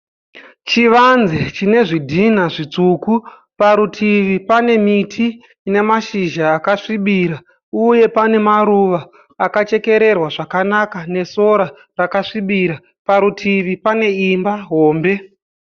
Chivanze chine zvidhinha zvitsvuku. Parutivi pane miti ine mashizha akasvibira uye pane maruva akachekererwa zvakanaka nesora rakasvibira. Parutivi pane imba hombe.